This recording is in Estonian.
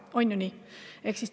On ju nii?